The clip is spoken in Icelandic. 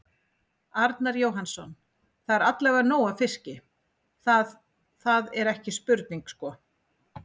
Arnar Jóhannsson: Það er allavega nóg af fiski, það, það er ekki spurning sko?